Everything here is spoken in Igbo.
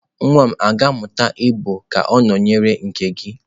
Nwa m ga-amụta igbo ka ọ nọnyere nke gị?